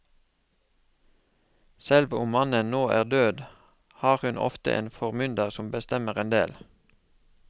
Selv om mannen nå er død har hun ofte en formynder som bestemmer en del.